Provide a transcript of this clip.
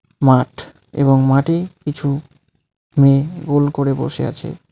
মাঠ এবং মাঠে কিছু মেয়ে গোল করে বসে আছে.